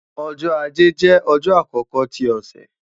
Ọjọ́-Ajé jẹ ọjọ akọkọ ti ọsẹ